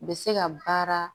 U bɛ se ka baara